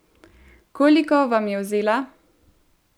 Koliko vam je vzela?